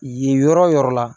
Yen yɔrɔ la